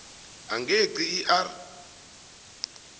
engeqi i r